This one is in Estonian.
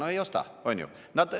No ei osta, on ju!